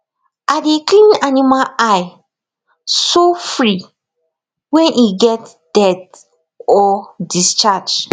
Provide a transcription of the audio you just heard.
i dey clean animal eye sofri when e get dirt or discharge